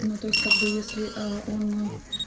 ну то есть как бы если он